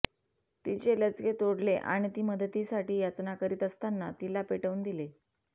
तिचे लचके तोडले आणि ती मदतीसाठी याचना करीत असताना तिला पेटवून दिले